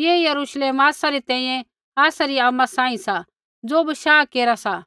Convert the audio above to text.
ऐ Jerusalem आसा री तैंईंयैं आसा री आमा सांही सा ज़ो बशाह केरा सी